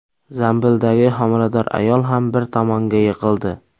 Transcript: Zambildagi homilador ayol ham bir tomonga yiqildi.